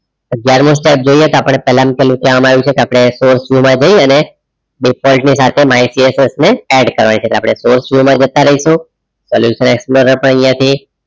અગિયારમો step જોઈએ કે આપણે પહેલામાં પેલું કહેવામાં આવ્યું છે કે આપણે source view મા જઈ અને defualt ની સાથે માહિતી execs ને add કરવાની છે આપણે source view મા જતા રહીશું આપણે અહીંયાથી